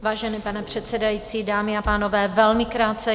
Vážený pane předsedající, dámy a pánové, velmi krátce.